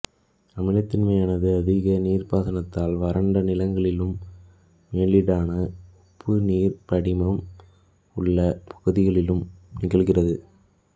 அமிலத்தன்மையானது அதிக நீர்ப்பாசனத்தால் வறண்ட நிலங்களிலும் மேலீடான உப்பு நீர் படிமம் உள்ளப் பகுதிகளிலும் நிகழ்கிறது